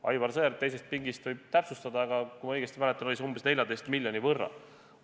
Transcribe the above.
Aivar Sõerd teisest pingist võib täpsustada, aga kui ma õigesti mäletan, oli see umbes 14 miljoni võrra.